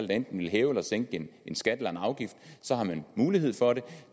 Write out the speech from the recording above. der enten vil hæve eller sænke en skat eller en afgift så har man mulighed for det